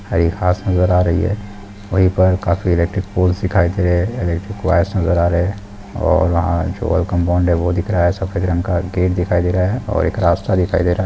हरी घाँस नज़र आ रही है वहीं पर काफी इलेक्ट्रिक पॉल्स दिखाई दे रहे हैं इलेक्ट्रिक वायर्स नज़र आ रहे हैं और एक वेलकम बोर्ड दिख रहा हैं सफेद रंग का है गेट दिखाई दे रहा है और एक रास्ता दिख रहा है।